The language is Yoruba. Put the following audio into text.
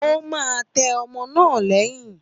Ó máa tẹ́ ọmọ náà lẹ́yìn